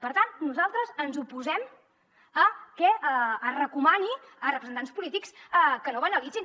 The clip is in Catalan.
per tant nosaltres ens oposem a que es recomani a representants polítics que no banalitzin